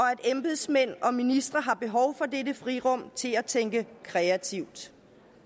embedsmænd og ministre har behov for dette frirum til at tænke kreativt